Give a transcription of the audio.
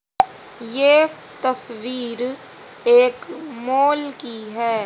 यह तस्वीर एक मॉल की है।